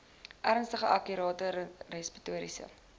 ernstige akute respiratoriese